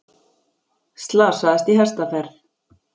Slasaðist í hestaferð